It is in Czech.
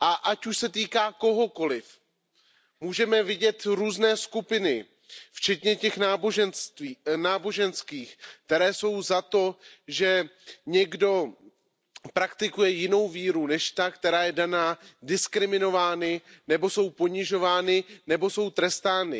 Ať už se týká kohokoliv, můžeme vidět různé skupiny, včetně těch náboženských, které jsou za to, že někdo praktikuje jinou víru než tu, která je daná, diskriminovány nebo jsou ponižovány a trestány.